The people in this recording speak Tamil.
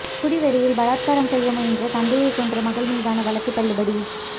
குடிவெறியில் பலாத்காரம் செய்ய முயன்ற தந்தையைக் கொன்ற மகள் மீதான வழக்கு தள்ளுபடி